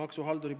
Ahah, tuleb.